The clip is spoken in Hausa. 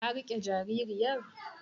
Ka riƙe jaririyar?